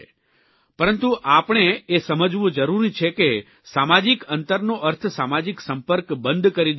પરંતુ આપણે એ સમજવું જરૂરી છે કે સામાજીક અંતરનો અર્થ સામાજીક સંપર્ક બંધ કરી દેવો એવો નથી